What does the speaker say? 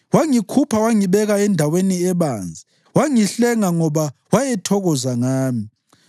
Wangikhupha wangibeka endaweni ebanzi; wangihlenga ngoba wayethokoza ngami.